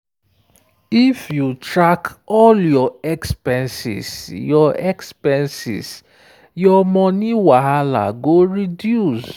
if you track all your expenses your expenses your money wahala go reduce.